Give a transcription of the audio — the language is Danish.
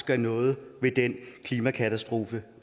gør noget ved den klimakatastrofe